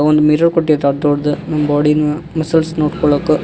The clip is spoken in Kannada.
ಒಂದ್ ಮಿರರ್ ಕೋಟ್ಯತ ದೊಡ್ದ್ ನಮ್ ಬಾಡಿ ನ ಮಜಲ್ಸ್ ನೋಡ್ಕಳಕ.